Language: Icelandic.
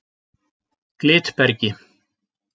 Glitbergi